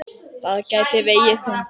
Það gæti vegið þungt.